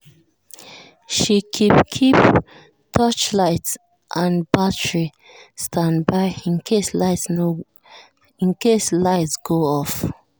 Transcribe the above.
she keep keep torchlight and battery standby in case light go off.